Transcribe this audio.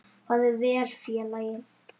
Farðu vel félagi.